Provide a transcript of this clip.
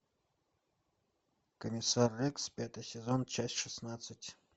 комиссар рекс пятый сезон часть шестнадцать